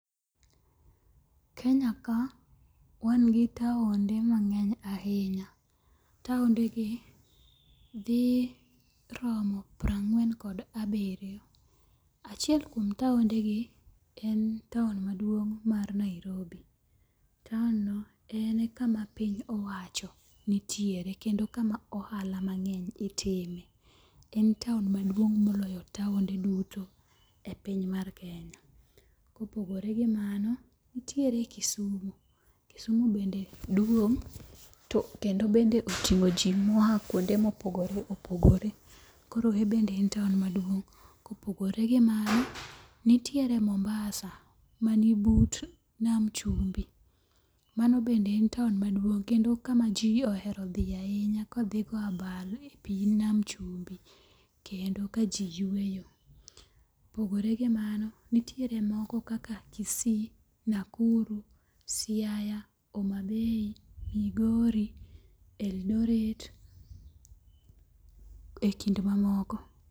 Kenya ka wan gi taonde mang'eny ahinya. Taonde gi dhi romo piero angwen kod abiriyo. Achiel kuom taonde gi en taon maduong' mar Nairobi. Taon no ene kama piny owacho nitiere kendo kama ohala mang'eny itime. En taon maduong' moloyo taonde duto e piny mar Kenya. Kopogore gi mano, nitiere Kisumu. Kisumu bende duong' kendo bende oting'o jo moa kwonde mopogore opogore. Koro en bende en taon maduong'. Kopogore gi mano, nitiere Mombasa mani but nam chumbi. Mano bende en taon maduong' kendo kama ji ohero dhiye ahinya ka dhi go abal a pi nam chumbi kendo ka ji yweyo. Kopogore gi mano nitiere moko kaka Kisii, Nakuru, Siaya, Homa Bay, Migori, Eldoret e kind mamoko.